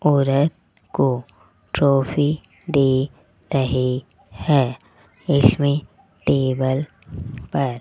औरत को ट्रॉफी दे रहे है इसमें टेबल पर --